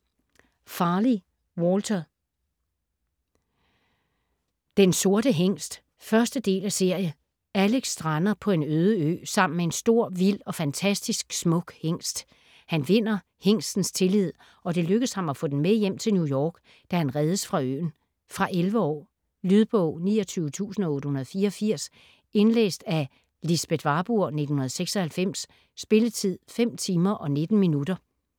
Farley, Walter: Den sorte hingst 1. del af serie. Alec strander på en øde ø sammen med en stor, vild og fantastisk smuk hingst. Han vinder hingstens tillid, og det lykkes ham at få den med hjem til New York, da han reddes fra øen. Fra 11 år. Lydbog 29884 Indlæst af Lisbeth Warburg, 1996. Spilletid: 5 timer, 19 minutter.